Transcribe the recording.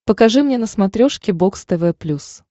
покажи мне на смотрешке бокс тв плюс